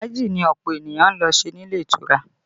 Fàájì ni ọ̀pọ̀ ènìyàn ń lọ ṣe nílé ìtura